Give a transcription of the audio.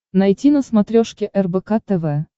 найти на смотрешке рбк тв